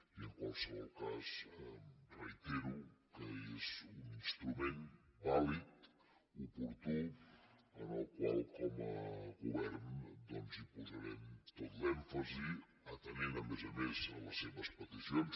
i en qualsevol cas reitero que és un instrument vàlid oportú en el qual com a govern doncs hi posarem tot l’èmfasi atenent a més a més a les seves peticions